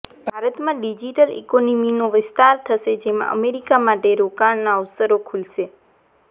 ભારતમાં ડિજીટલ ઈકોનોમીનો વિસ્તાર થશે જેમાં અમેરિકા માટે રોકાણના અવસરો ખુલશે